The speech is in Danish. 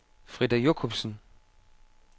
Frida Jochumsen